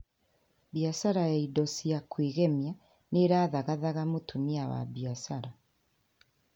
Biacara ya indo cia kwĩgemia nĩ ĩrathagathaga mũtumia wa biacara